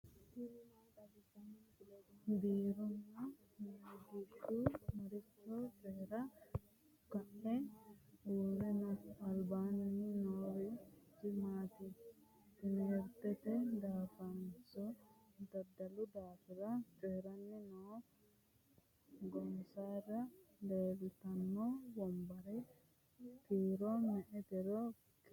Biraanu Nagihu maricho coyirara ka'e uure no?alibasiinni noorichi maati? timihiritete daafonso daddalu daafira coyiranni no?gonnesira leelitanno wonbarre kiiro me'etero kiirite ka'e kuli?